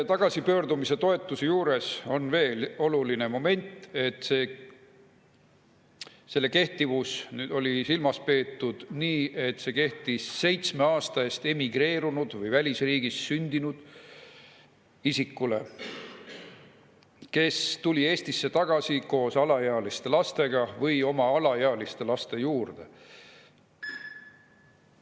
Tagasipöördumistoetuse juures on veel üks oluline moment: selle kehtivuse puhul on silmas peetud seda, et see kehtib seitsme aasta eest emigreerunud või välisriigis sündinud isikule, kes tuleb Eestisse tagasi koos alaealiste lastega või oma alaealiste laste juurde.